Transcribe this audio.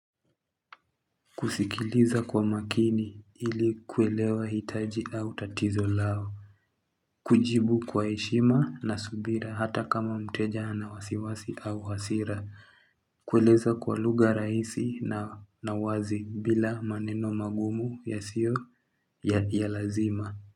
Kusikiliza kwa makini ili kuelewa hitaji au tatizo lao kujibu kwa heshima na subira hata kama mteja ana wasiwasi au hasira kueleza kwa luga raisi na wazi bila maneno magumu yasio ya lazima.